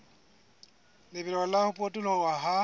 lebelo la ho potoloha ha